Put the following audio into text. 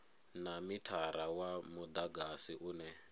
na mithara wa mudagasi une